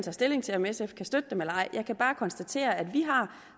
tager stilling til om sf kan støtte dem eller ej jeg kan bare konstatere at vi har